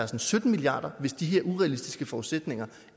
til sytten milliard kr hvis de her urealistiske forudsætninger